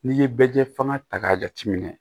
N'i ye bɛlɛjɛ fan ta k'a jateminɛ